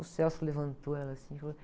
O levantou ela assim e falou...